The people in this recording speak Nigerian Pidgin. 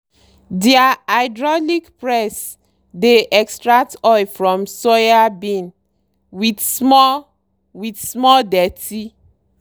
deir hydraulic press dey extract oil from soybean with small with small dirty.